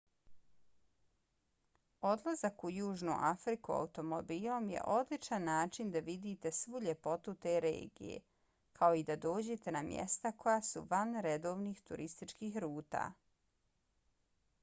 odlazak u južnu afriku automobilom je odličan način da vidite svu ljepotu te regije kao i da dođete na mjesta koja su van redovnih turističkih ruta